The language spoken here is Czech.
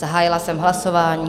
Zahájila jsem hlasování.